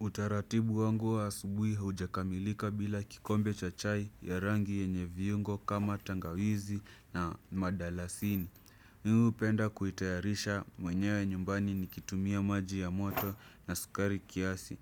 Utaratibu wangu wa asubuhi haujakamilika bila kikombe cha chai ya rangi yenye viungo kama tangawizi na madalasini. Mimi hupenda kuitayarisha mwenyewe nyumbani nikitumia maji ya moto na sukari kiasi.